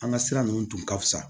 An ka sira ninnu tun ka fisa